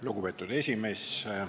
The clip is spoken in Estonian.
Lugupeetud esimees!